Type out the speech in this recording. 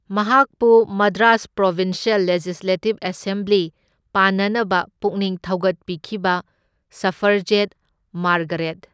ꯃꯍꯥꯛꯄꯨ Madras provincial legislative assembly ꯄꯥꯟꯅꯅꯕ ꯄꯨꯛꯅꯤꯡ ꯊꯧꯒꯠꯄꯤꯈꯤꯕ ꯁꯐ꯭ꯔꯖꯦꯠ ꯃꯥꯔꯒꯔꯦꯠ꯫